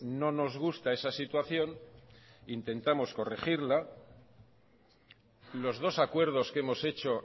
no nos gusta esa situación intentamos corregirla y los dos acuerdos que hemos hecho